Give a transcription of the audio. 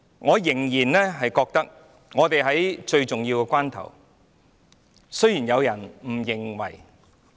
我認為今天我們正處於最重要的關頭，儘管有人不認為是這樣。